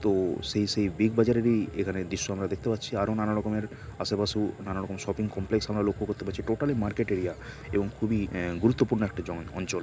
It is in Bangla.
তো সেই সেই বিগ বাজারেরই এখানে দৃশ্য আমরা দেখতে পাচ্ছি আরও। নানা রকমের আশেপাশে নানারকম শপিং কমপ্লেক্স আমরা লক্ষ্য করতে পারছি। টোটালি মার্কেট এরিয়া এবং খুবি আ গুরুত্বপূর্ণ একটা জ অঞ্চল।